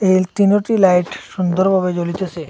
এই তিনোটি লাইট সুন্দর ভাবে জ্বলিতাসে।